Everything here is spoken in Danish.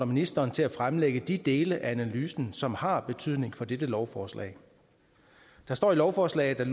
ministeren til at fremlægge de dele af analysen som har betydning for dette lovforslag der står i lovforslaget at